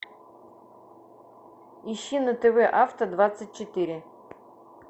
ищи на тв авто двадцать четыре